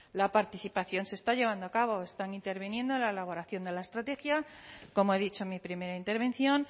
la participación se está llevando a cabo están interviniendo en la elaboración de la estrategia como he dicho en mi primera intervención